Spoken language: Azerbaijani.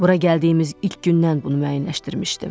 Bura gəldiyimiz ilk gündən bunu müəyyənləşdirmişdim.